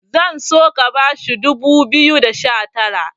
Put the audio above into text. zan so ka bashi dubu biyu da sha Tara